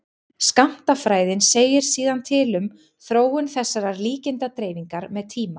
skammtafræðin segir síðan til um þróun þessarar líkindadreifingar með tíma